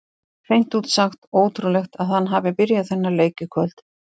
Hreint út sagt ótrúlegt að hann hafi byrjað þennan leik í kvöld.